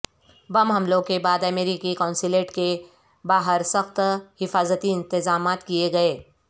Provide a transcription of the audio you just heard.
بم حملوں کے بعد امریکی قونصلیٹ کے باہر سخت حفاظتی انتظامات کیے گئے